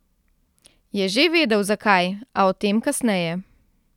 Je že vedel, zakaj, a o tem kasneje.